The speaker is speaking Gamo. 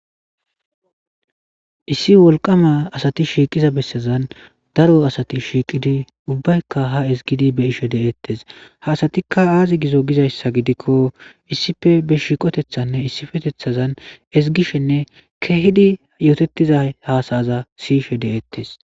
Issi wolqama asati shiqiza besazan daro asati shiqidi ubayika ha ezgidi be'ishe de'etes ha asatika aze gizo gizaysa gidiko issipe be shiqotetane isipetethazan ezigishene kehidi yotetizi hasa'aza sishe de'etes.